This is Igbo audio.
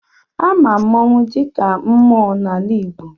Ama mmanwụ dịka mmụọ n'ala Igbo.